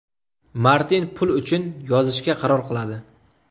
Martin pul uchun yozishga qaror qiladi.